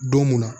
Don mun na